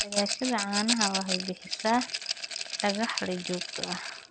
Dhaqashada caanaha waxay bixisaa dakhli joogto ah.